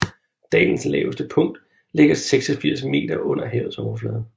Dalens laveste punkt ligger 86 m under havets overflade